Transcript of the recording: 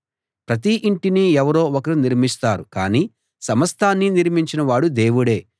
ప్రతి ఇంటినీ ఎవరో ఒకరు నిర్మిస్తారు కానీ సమస్తాన్నీ నిర్మించిన వాడు దేవుడే